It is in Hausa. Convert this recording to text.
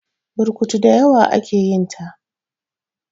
burkutu da dawa ake yinta